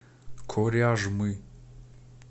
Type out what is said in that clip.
коряжмы